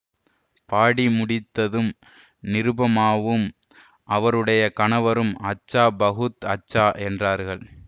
பாடி முடித்ததும் நிருபமாவும் அவருடைய கணவரும் அச்சா பஹூத் அச்சா என்றார்கள்